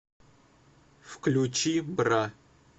включи бра